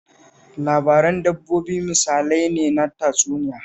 Labaran dabbobi misalai ne na tatsuniya